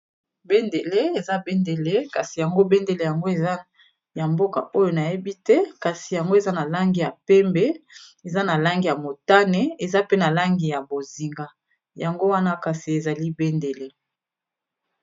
Bendele, eza bendele kasi yango bendele yango eza ya mboka oyo nayebi te kasi yango eza na langi ya pembe eza na langi ya motane eza pe na langi ya bozinga yango wana kasi ezali bendele.